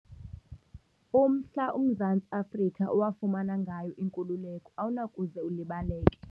Umhla uMzantsi Afrika owafumana ngayo inkululeko awunakuze ulibaleke.